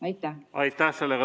Aitäh!